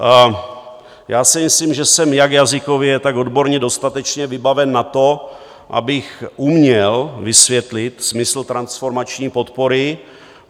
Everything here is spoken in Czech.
Já si myslím, že jsem jak jazykově, tak odborně dostatečně vybaven na to, abych uměl vysvětlit smysl transformační podpory.